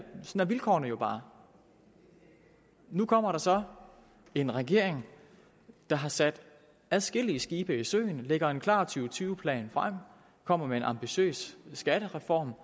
vilkårene bare nu kommer der så en regering der har sat adskillige skibe i søen lægger en klar to tusind og tyve plan frem kommer med en ambitiøs skattereform